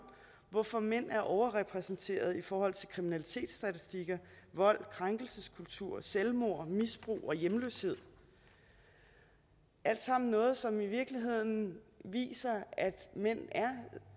hvorfor mænd er overrepræsenteret i forhold til kriminalitetsstatistikker vold krænkelseskultur selvmord misbrug og hjemløshed alt sammen noget som i virkeligheden viser at mænd